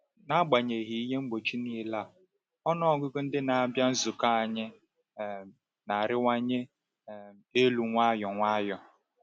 N’agbanyeghị ihe mgbochi niile a, ọnụ ọgụgụ ndị na-abịa nzukọ anyị um na-arịwanye um elu nwayọ nwayọ.